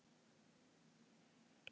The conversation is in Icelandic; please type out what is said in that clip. Hróar